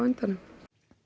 endanum